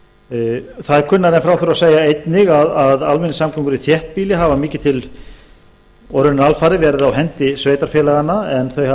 það er kunnara en frá þurfi að segja einnig að almenningssamgöngur í þéttbýli hafa mikið og raunar alfarið verið á hendi sveitarfélaganna en þau hafa